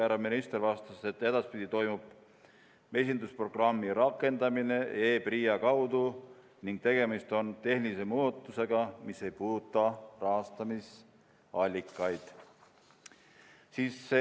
Härra minister vastas, et edaspidi toimub mesindusprogrammi rakendamine e-PRIA kaudu ning tegemist on tehnilise muudatusega, mis ei puuduta rahastamisallikaid.